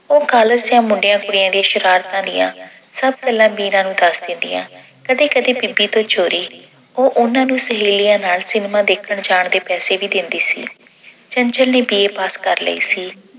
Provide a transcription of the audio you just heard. ਉਹ college ਦੀਆਂ ਮੁੰਡਿਆਂ-ਕੁੜੀਆਂ ਦੀਆਂ ਸ਼ਰਾਰਤਾਂ ਦੀਆਂ ਸਭ ਗੱਲਾਂ ਮੀਰਾ ਨੂੰ ਦੱਸ ਦਿੰਦੀਆਂ। ਕਦੀ-ਕਦੀ ਉਹ ਬੀਬੀ ਤੋਂ ਚੋਰੀ ਉਹ ਉਹਨਾਂ ਨੂੰ ਸਹੇਲੀਆਂ ਨਾਲ cinema ਦੇਖਣ ਜਾਣ ਦੇ ਪੈਸੇ ਵੀ ਦਿੰਦੀ ਸੀ। ਚੰਚਲ ਨੇ B. A. ਪਾਸ ਕਰ ਲਈ ਸੀ